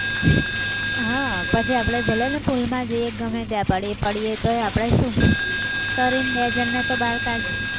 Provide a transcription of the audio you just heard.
હા પછી આપણે ભલે ને pool માં જઈએ કે ગમે ત્યાં પડીએ. પાડીએ તોય આપણે શું તરી ને બે જણને બાર તો કાઢીએ